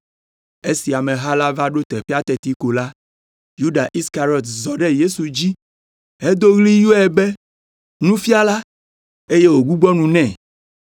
Esi ameha la va ɖo teƒea teti ko la, Yuda Iskariɔt zɔ ɖe Yesu dzi hedo ɣli yɔe be, “Nufiala” eye wògbugbɔ nu nɛ.